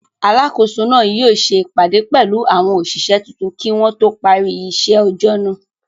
Alákòóso náà yóò ṣe ìpàdé pẹ̀lú àwọn òṣìṣẹ́ tuntun kí wọn tó parí iṣẹ́ ọjọ́ náà.